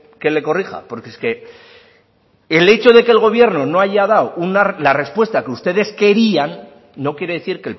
que le corrija porque es que el hecho de que el gobierno no haya dado la respuesta que ustedes querían no quiere decir